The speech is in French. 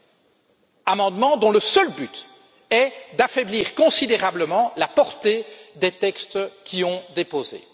Des amendements dont le seul but est d'affaiblir considérablement la portée des textes déposés.